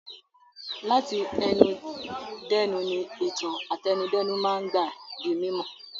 Láti ẹnu dẹ́nu ni ìtàn àtẹnudẹ́nu máa ń gbà di mímọ̀.